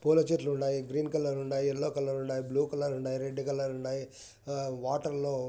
పూల చేట్లున్నాయి. Green colour ఉన్నాయి ఎల్లో కలర్ ఉన్నాయి బ్లూకలర్ ఉన్నాయి రెడ్ కలర్ వాటర్లో--